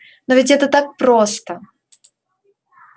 но ведь это так просто